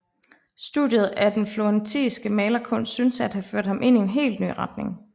Studiet af den florentinske malerkunst synes at have ført ham ind i hel ny retning